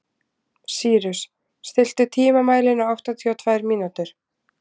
Sýrus, stilltu tímamælinn á áttatíu og tvær mínútur.